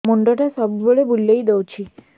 ମୁଣ୍ଡଟା ସବୁବେଳେ ବୁଲେଇ ଦଉଛି